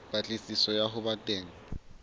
patlisiso ya ho ba teng